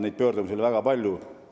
Neid pöördumisi oli väga palju.